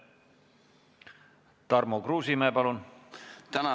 Tarmo Kruusimäe, palun!